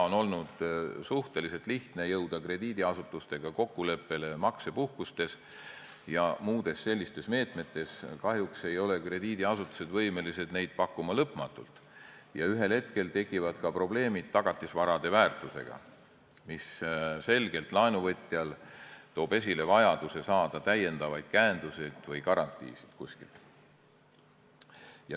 On olnud suhteliselt lihtne jõuda krediidiasutustega kokkuleppele maksepuhkustes ja muudes sellistes meetmetes, aga kahjuks ei ole krediidiasutused võimelised neid pakkuma lõpmatult ja ühel hetkel tekivad ka probleemid tagatisvarade väärtusega, mis selgelt toob esile laenuvõtja vajaduse saada kuskilt täiendavaid käenduseid või garantiisid.